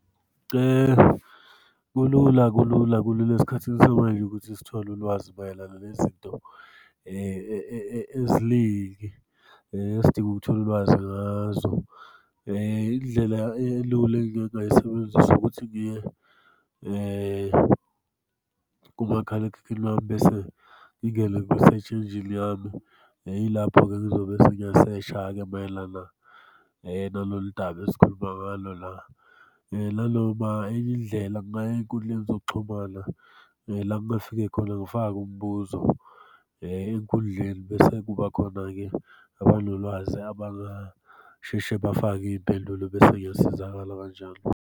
Kulula kulula kulula esikhathini samanje ukuthi sithole ulwazi mayelana nezinto eziningi esidinga ukuthola ulwazi ngazo. Indlela elula engingayisebenzisa ukuthi-ke kumakhalekhukhwini wami bese ngingene yami. Yilapho-ke engizobe sengiyashesha-ke mayelana nalolu daba esikhuluma ngalo la. Nanoma enye indlela ey'nkundleni zokuxhumana la engingafika khona ngifake umbuzo enkundleni, bese kuba khona-ke abanolwazi abangasheshe bafake iy'mpendulo bese ngiyasizakala kanjalo.